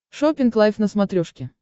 шоппинг лайф на смотрешке